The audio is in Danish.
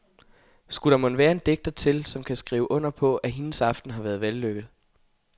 Skulle der mon være en digter til, som kan skrive under på, at hendes aften har været vellykket.